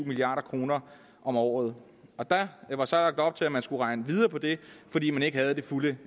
milliard kroner om året og der var så lagt op til at man skulle regne videre på det fordi man ikke havde det fulde